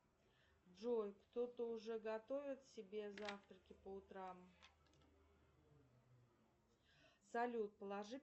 джой кто то уже готовит себе завтраки по утрам салют положи